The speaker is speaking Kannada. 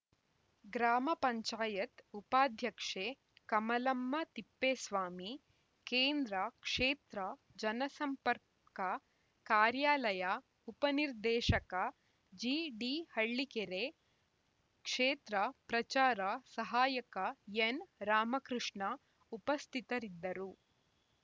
ಗ್ರಾಮ ಪಂಚಾಯತ್ ಉಪಾಧ್ಯಕ್ಷೆ ಕಮಲಮ್ಮ ತಿಪ್ಪೇಸ್ವಾಮಿ ಕೇಂದ್ರ ಕ್ಷೇತ್ರ ಜನಸಂಪರ್ಕ ಕಾರ್ಯಾಲಯ ಉಪನಿರ್ದೇಶಕ ಜಿಡಿ ಹಳ್ಳಿಕೇರೆ ಕ್ಷೇತ್ರ ಪ್ರಚಾರ ಸಹಾಯಕ ಎನ್‌ ರಾಮಕೃಷ್ಣ ಉಪಸ್ಥಿತರಿದ್ದರು